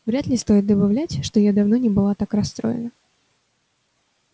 вряд ли стоит добавлять что я давно не была так расстроена